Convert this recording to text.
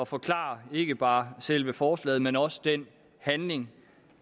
forklare ikke bare selve forslaget men også den handling